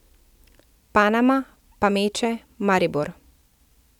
Panama, Pameče, Maribor.